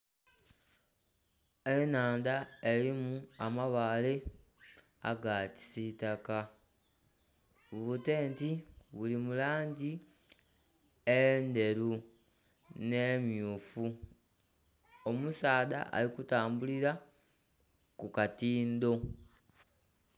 Ennhandha erimu amabaale aga kisitaka, bu tenti buli mu langi endheru nh'emmyufu, omusaadha ali kutambulira ku katindo.